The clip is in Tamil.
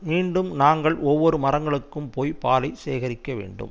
மீண்டும் நாங்கள் ஒவ்வொரு மரங்களுக்கும் போய் பாலை சேகரிக்க வேண்டும்